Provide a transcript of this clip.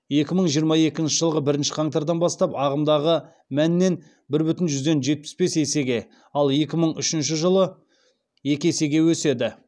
екі мың жиырма екінші жылғы бірінші қаңтардан бастап ағымдағы мәннен бір бүтін жүзден жетпіс бес есеге ал екі мың үшінші жылы екі есеге өседі